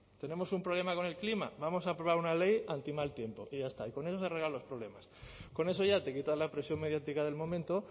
tenemos un problema con el clima vamos a aprobar una ley anti mal tiempo y ya está y con eso se arreglan los problemas con eso ya te quitas la presión mediática del momento